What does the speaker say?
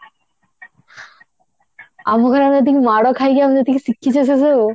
ଆମ ଘରେ ଆମେ ଯେତିକି ମାଡ ଖାଇକି ଆମେ ଯେତିକି ଶିଖିଛେ ସେସବୁ